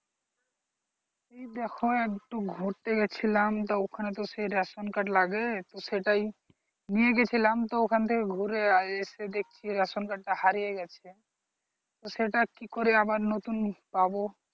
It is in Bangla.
এই দেখো একটু ঘুরতে গেছিলাম তো ওখানে তো সেই ration card লাগে, তো সেটাই নিয়ে গেছিলাম তো ওখান থেকে ঘুরে এসে দেখছি ration card টা হারিয়ে গেছে সেটা কি করে আবার নতুন পাব?